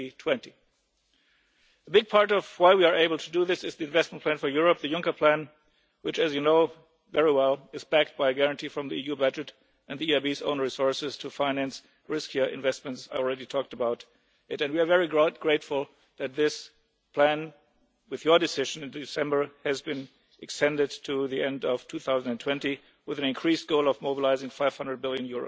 2020. A big part of why we are able to do this is the investment plan for Europe, the Juncker plan, which, as you know very well, is backed by a guarantee from the EU budget and the EIB's own resources to finance riskier investments. I have already talked about this plan and we are very grateful that, with Parliament's decision in December, it has been extended to the end of 2020 with an increased goal of mobilising EUR 500 billion.